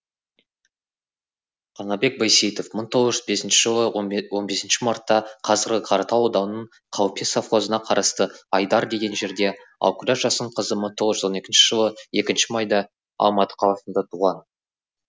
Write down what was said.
қанабек байсейітов мың тоғыз жүз бесінші жылы он бесінші мартта қазіргі қаратал ауданының қалпе совхозына қарасты айдар деген жерде ал күләш жасынқызы мың тоғыз жүз он екінші жылы екінші майда алматы қаласында туған